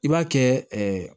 I b'a kɛ